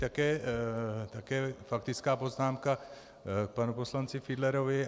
Také faktická poznámka k panu poslanci Fiedlerovi.